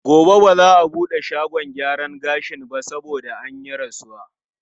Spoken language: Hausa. Gobe ba za a buɗe shagon gyaran gashin ba saboda an yi rasuwa.